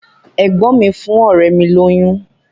Ẹ̀gbọ́n mi fún ọ̀rẹ́ mi lóyún.